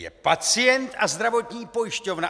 Je pacient a zdravotní pojišťovna.